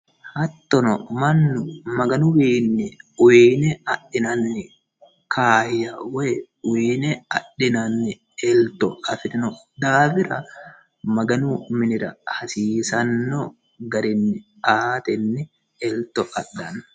Hattono mannu magganuwinni uyine adhinanni kaaya woyi uyinne adhinanni elitto afirinno daafira magganu minira hasiisano garinni atteni elito adhanno